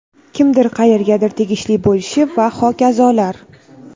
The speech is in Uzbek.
kimdir qayergadir tegishli bo‘lishi va hokazolar.